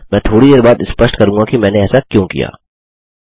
मैं थोड़ी देर बाद स्पष्ट करूँगा कि मैंने ऐसा क्यों किया